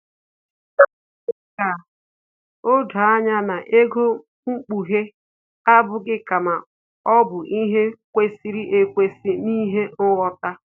O mere ka o doo anya na ego mkpughe abụghị kama ọ bụ ihe kwesịrị ekwesị na ihe nghọta